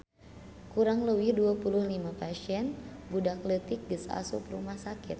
Kurang leuwih 25 pasien budak leutik geus asup rumah sakit